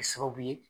Kɛ sababu ye